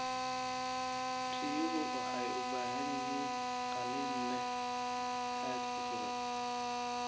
Riyuhu waxay u baahan yihiin qalin leh hadh ku filan.